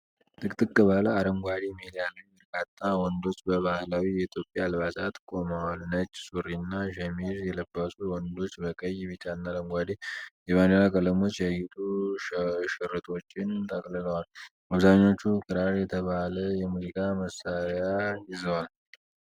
ጥቅጥቅ ባለ አረንጓዴ ሜዳ ላይ በርካታ ወንዶች በባህላዊ የኢትዮጵያ አልባሳት ቆመዋል። ነጭ ሱሪና ሸሚዝ የለበሱት ወንዶች በቀይ፣ ቢጫና አረንጓዴ የባንዲራ ቀለሞች ያጌጡ ሽርጦችን ተጠቅልለዋል። አብዛኞቹ ክራር የተባለ የሙዚቃ መሳሪያ ይዘዋል።